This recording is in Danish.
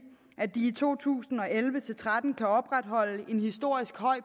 i to tusind og elleve til tretten kan opretholde en historisk høj